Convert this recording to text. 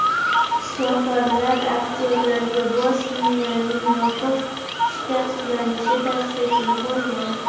Shifokorlar aktyorga bosh miyaning yopiq shikastlanishi tashxisini qo‘ygan.